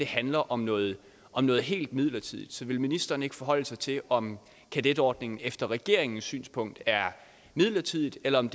handler om noget om noget helt midlertidigt så vil ministeren ikke forholde sig til om kadetordningen efter regeringens synspunkt er midlertidig eller om